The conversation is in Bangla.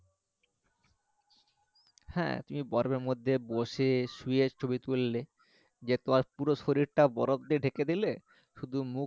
হ্যাঁ তুমি বরফ এর মধ্যে বসে শুয়ে ছবি তুললে যে তোমার পুরো শরীরটা বরফ দিয়ে ঢেকে দিলে শুধু মুখ